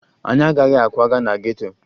Anyị agaghị akwaga na geto